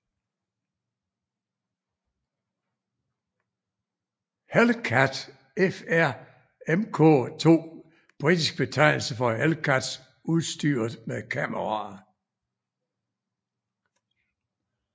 Hellcat FR Mk II Britisk betegnelse for Hellcats udstyret med kameraer